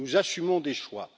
Nous assumons des choix.